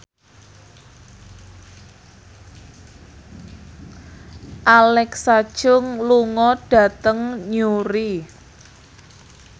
Alexa Chung lunga dhateng Newry